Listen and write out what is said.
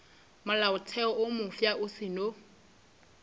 molaotheo wo mofsa o seno